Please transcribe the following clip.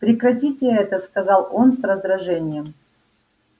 прекратите это сказал он с раздражением